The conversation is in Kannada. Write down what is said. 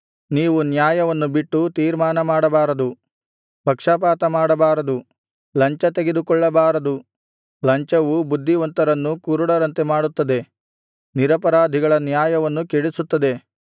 ನೀವು ನ್ಯಾಯವನ್ನು ಬಿಟ್ಟು ತೀರ್ಮಾನ ಮಾಡಬಾರದು ಪಕ್ಷಪಾತಮಾಡಬಾರದು ಲಂಚತೆಗೆದುಕೊಳ್ಳಬಾರದು ಲಂಚವು ಬುದ್ಧಿವಂತರನ್ನೂ ಕುರುಡರಂತೆ ಮಾಡುತ್ತದೆ ನಿರಪರಾಧಿಗಳ ನ್ಯಾಯವನ್ನು ಕೆಡಿಸುತ್ತದೆ